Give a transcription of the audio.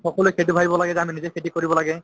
সকলোয়ে সেইটো ভাবিব লাগে যে আমি নিজে খেতি কৰিব লাগে